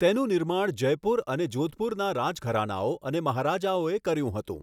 તેનું નિર્માણ જયપુર અને જોધપુરના રાજઘરાનાઓ અને મહારાજાઓએ કર્યું હતું.